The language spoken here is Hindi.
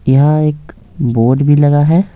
यहाँ एक बोर्ड भी लगा है।